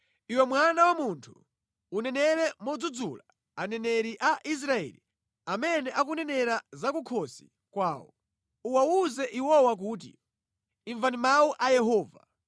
“Iwe mwana wa munthu unenere modzudzula aneneri a Israeli amene akunenera za kukhosi kwawo. Uwawuze iwowa kuti, ‘Imvani mawu a Yehova!’